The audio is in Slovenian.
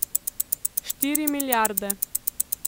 Štiri milijarde.